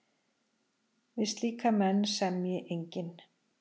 Við slíka menn semji enginn.